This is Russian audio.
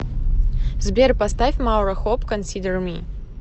сбер поставь маура хоп консидер ми